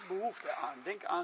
Daar is behoefte aan.